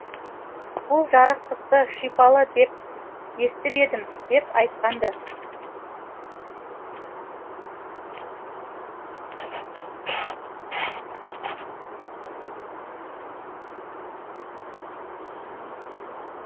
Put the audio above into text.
бұл жарықтықты шипалы деп естіп едім деп айтқан ды